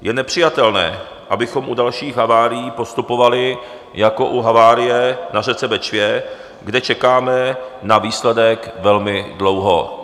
Je nepřijatelné, abychom u dalších havárií postupovali jako u havárie na řece Bečvě, kde čekáme na výsledek velmi dlouho.